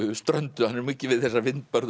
ströndum hann er mikið við þessar